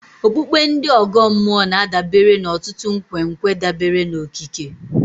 Okpukpe ndị ọgọ mmụọ na-adabere n'ọtụtụ nkwenkwe dabere n'okike.